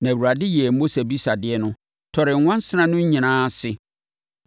Na Awurade yɛɛ Mose abisadeɛ no, tɔree nwansena no nyinaa ase.